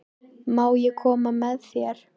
Má ég koma með þér?